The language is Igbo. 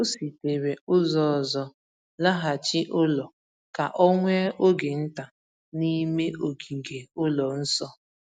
O sitere ụzọ ọzọ laghachi ụlọ ka o nwee oge nta n’ime ogige ụlọ nsọ.